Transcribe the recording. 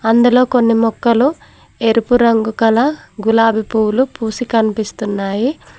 అందులో కొన్ని మొక్కలు ఎరుపు రంగు కల గులాబీ పువ్వులు పూసి కనిపిస్తున్నాయి.